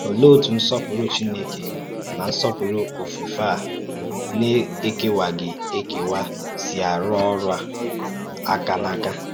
Ọ̀lèé otú nsọ́pùrụ̀ Chínèkè na nsọ́pùrụ̀ òfùfé a na-èkèwàghị ekèwà sì àrụ́ ọ́rụ́ àkà n’áka?